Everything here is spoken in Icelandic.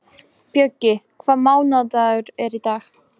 Bjöggi, hvaða mánaðardagur er í dag?